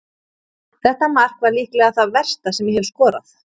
Þetta mark var líklega það versta sem ég hef skorað.